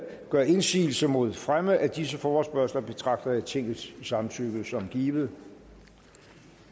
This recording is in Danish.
gør indsigelse mod fremme af disse forespørgsler betragter jeg tingets samtykke som givet